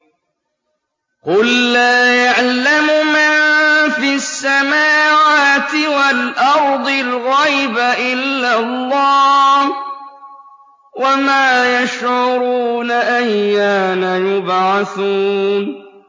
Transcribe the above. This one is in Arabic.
قُل لَّا يَعْلَمُ مَن فِي السَّمَاوَاتِ وَالْأَرْضِ الْغَيْبَ إِلَّا اللَّهُ ۚ وَمَا يَشْعُرُونَ أَيَّانَ يُبْعَثُونَ